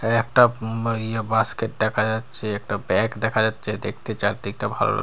একটা উম ইয়ে বাস্কেট দেখা যাচ্ছে একটা ব্যাগ দেখা যাচ্ছে দেখতে চারদিকটা ভালো লা--